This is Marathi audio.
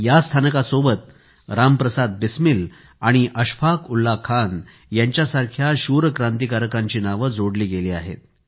या स्थानकासोबत राम प्रसाद बिस्मिल आणि अशफाक उल्लाह खान यांच्यासारख्या शूर क्रांतिकारकांची नावे जोडली गेली आहेत